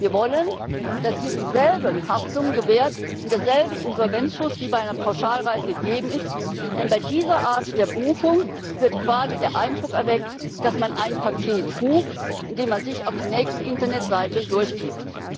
Wir wollen, dass hier dieselben Haftungen gewährt werden und derselbe Insolvenzschutz wie bei einer Pauschalreise gegeben ist, denn bei dieser Art der Buchung wird quasi der Eindruck erweckt, dass man ein Paket bucht, indem man sich auf die nächste Internetseite durchklickt.